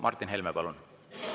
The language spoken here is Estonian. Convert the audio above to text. Martin Helme, palun!